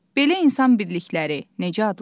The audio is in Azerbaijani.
Belə insan birlikləri necə adlanır?